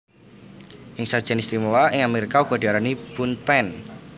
Ing sajian istimewa ing Amerika uga diarani Bundt Pan